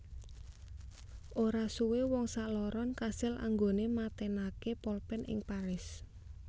Ora suwe wong sakloron kasil anggone matenake polpen ing Paris